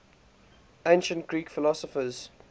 ancient greek philosophers